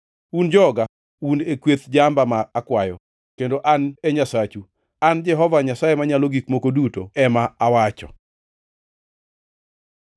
Un joga, un e kweth jamba ma akwayo, kendo an e Nyasachu, an Jehova Nyasaye Manyalo Gik Moko Duto ema owacho.’ ”